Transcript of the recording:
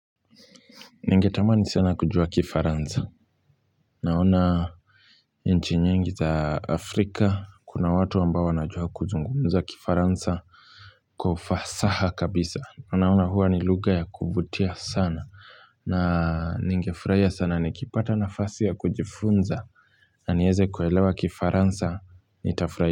Ningetamani sana kujua kifaransa naona nchi nyingi za afrika kuna watu ambao wanajua kuzungumza kifaransa Kwa ufasaha kabisa anaona hua ni lugha ya kuvutia sana na ningefuraiya sana nikipata nafasi ya kujifunza na nieze kuelewa kifaransa nitafuraia.